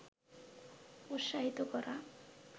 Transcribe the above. উৎসাহিত করা